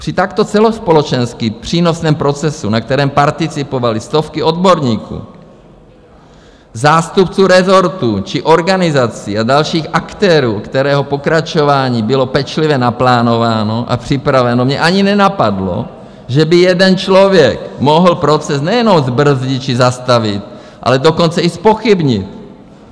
Při takto celospolečensky přínosném procesu, na kterém participovaly stovky odborníků, zástupců rezortů či organizací a dalších aktérů, kterého pokračování bylo pečlivě naplánováno a připraveno, mě ani nenapadlo, že by jeden člověk mohl proces nejenom zbrzdit či zastavit, ale dokonce i zpochybnit.